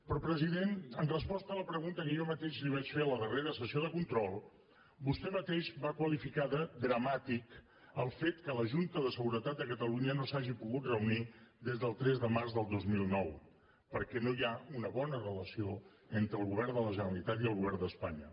però president en resposta a la pregunta que jo mateix li vaig fer a la darrera sessió de control vostè mateix va qualificar de dramàtic el fet que la junta de seguretat de catalunya no s’hagi pogut reunir des del tres de març del dos mil nou perquè no hi ha una bona relació entre el govern de la generalitat i el govern d’espanya